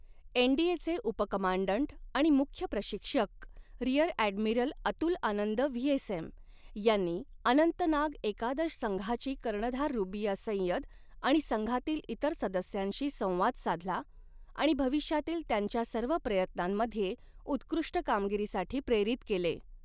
एनडीएचे उप कमांडंट आणि मुख्य प्रशिक्षक rear admiral Atul Anand VSM यांनी, अनंतनाग एकादश संघाची कर्णधार रुबिया सय्यद आणि संघातील इतर सदस्यांशी संवाद साधला आणि भविष्यातील त्यांच्या सर्व प्रयत्नांमध्ये उत्कृष्ट कामगिरीसाठी प्रेरित केले.